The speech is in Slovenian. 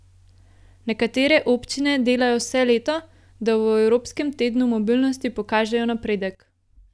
Nekatere občine delajo vse leto, da v evropskem tednu mobilnosti pokažejo napredek.